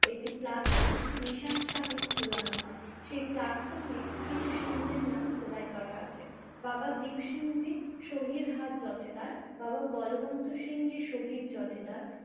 একটি প্লাটফর্মে নিশান সাহেব ঝোলানো হয়। সেই প্লাটফর্মে কিছু সিং দের নাম খোদাই করা আছে। বাবা দীপসিং জি, শহীদ হাত জোঠেদার, বাবা বলবন্দ সিং জি শহীদ জোঠেদার